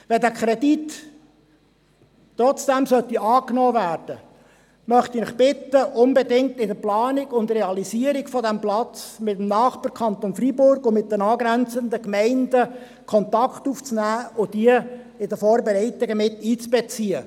Sollte der Kredit trotzdem angenommen werden, möchte ich Sie bitten, bei der Planung und Realisierung dieses Platzes unbedingt mit dem Nachbarkanton Freiburg und den angrenzenden Gemeinden Kontakt aufzunehmen und diese in die Vorbereitungen mit einzubeziehen.